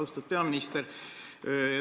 Austatud peaminister!